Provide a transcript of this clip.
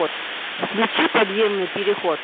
включи подземный переход